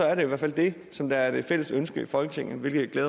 er det i hvert fald det som er det fælles ønske i folketinget hvilket